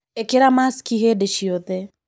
ĩkĩra maciki hĩndĩciothe.